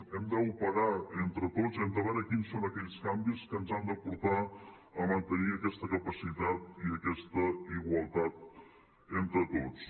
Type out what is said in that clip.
hem d’operar entre tots hem de veure quins són aquells canvis que ens han de portar a mantenir aquesta capacitat i aquesta igualtat entre tots